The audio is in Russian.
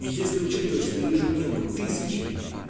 если учитывать что ежедневно тысячи